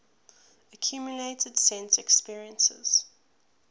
accumulated sense experiences